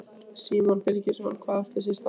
Símon Birgisson: Hvað átti sér stað?